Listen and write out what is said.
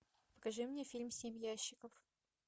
покажи мне фильм семь ящиков